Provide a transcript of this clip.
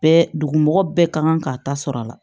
Bɛɛ dugumɔgɔ bɛɛ ka kan k'a ta sɔrɔ a la